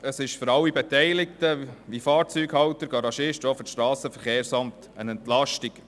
Es ist für alle Beteiligten wie Fahrzeughalter, Garagisten und auch das SVSA eine Entlastung.